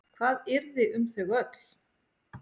Hvað yrði um þau öll?